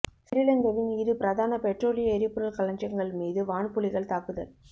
சிறிலங்கவின் இரு பிரதான பெற்றோலிய எரிபொருள் களஞ்சியங்கள் மீது வான்புலிகள் தாக்குதல்